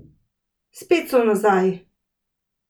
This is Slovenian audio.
Spet so nazaj!